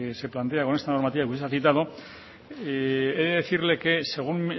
se plantea con esta normativa que usted ha citado he decirle que según